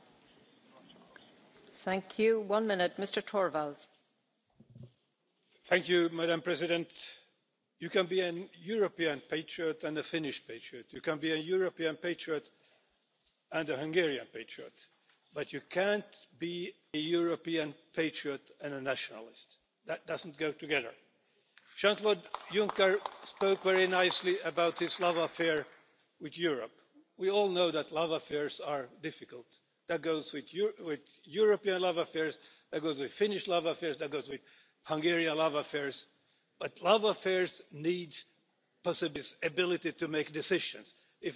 we agree. So the ECR calls on the Commission to start delivering the kind of European Union that people want and deserve. Not an EU which increasingly replaces national governments, not a European Union that is dismantled and destroyed, but a reformed European Union that Mr Juncker promised to deliver here in this Chamber five years ago. With vital elections next year, this is the eleventh hour for the EU. It is time to move on from the 1950s model of a federalised EU, an outdated vision of yesterday and it is time to deliver an EU shaped by the wishes of its peoples, those who want a better tomorrow.